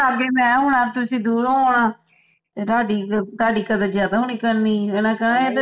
ਤੇ ਲਾਗੇ ਮੈਂ ਹੋਣਾ ਤੁਸੀਂ ਦੂਰੋਂ ਆਉਣਾ ਤੇ ਤੁਹਾਡੀ ਤੁਹਾਡੀ ਕਦਰ ਜ਼ਿਆਦਾ ਹੋਇਆ ਕਰਨੀ ਓਹਨਾ ਕਹਿਣਾ